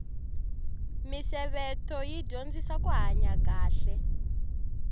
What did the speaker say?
misevetho yi dyondzisa kuhanya kahle